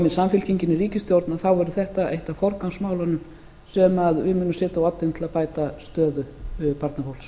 samfylkingin í ríkisstjórn þá verður þetta eitt af forgangsmálunum sem við munum setja á oddinn til að bæta stöðu barnafólks